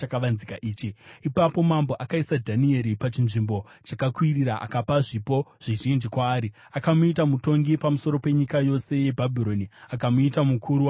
Ipapo mambo akaisa Dhanieri pachinzvimbo chakakwirira akapa zvipo zvizhinji kwaari. Akamuita mutongi pamusoro penyika yose yeBhabhironi akamuita mukuru wavachenjeri vose.